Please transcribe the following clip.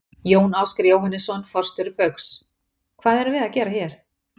Jón Ásgeir Jóhannesson, forstjóri Baugs: Hvað erum við að gera hér?